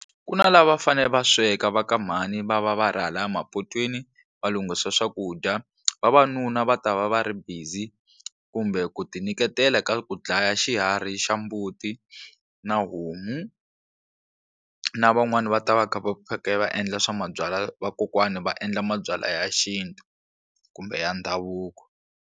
Ku na lava va fanele va sweka va ka mhani va va va ri hala mapotweni va lunghisa swakudya vavanuna va ta va va ri busy kumbe ku ti nyiketela ka ku dlaya xiharhi xa mbuti na homu na van'wani va ta va kha va endla swa mabyalwa vakokwani va endla mabyalwa ya xintu kumbe ya ndhavuko.